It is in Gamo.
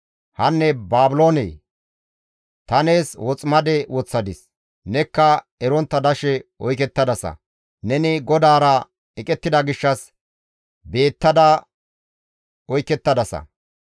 Hanne Baabiloonee! Ta nees woximade woththadis; nekka erontta dashe oykettadasa; neni GODAARA eqettida gishshas beettada oykettadasa.